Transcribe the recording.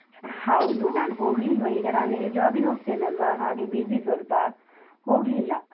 ಹೌದು, ನಾನು ಹೋಗ್ಲಿಲ್ವ ಈಗ ನಾನಿಲ್ಲಿ job ಗೆ ಹೋಗ್ತೇನಲ್ವ? ಹಾಗೆ busy ಸ್ವಲ್ಪ, ಹೋಗ್ಲಿಲ್ಲ.